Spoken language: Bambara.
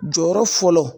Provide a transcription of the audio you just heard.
Jɔyɔrɔ fɔlɔ